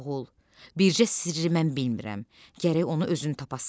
Oğul, bircə sirri mən bilmirəm, gərək onu özün tapasan.